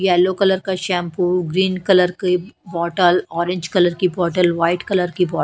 yellow colour का shampoo green colour की bottle orange colour की बॉटल व्हाइट कलर की बो --